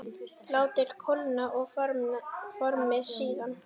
Látið kólna og formið síðan.